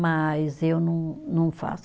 Mas eu não, não faço.